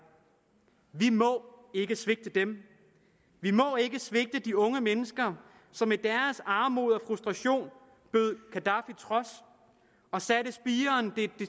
vi må ikke svigte dem vi må ikke svigte de unge mennesker som i deres armod og frustration bød gaddafi trods og satte spiren